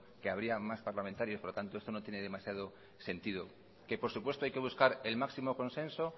que habría más parlamentarios por lo tanto esto no tiene demasiado sentido que por supuesto hay que buscar el máximo consenso